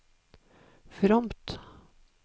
fromt